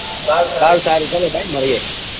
સારું સારું ચલો ભાઈ મળીયે